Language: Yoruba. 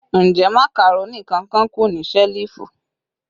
Njẹ macaroni kan-kan ku ni selifu?